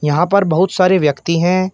यहां पर बहुत सारे व्यक्ति हैं।